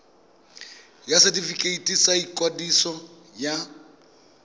ya setefikeiti sa ikwadiso ya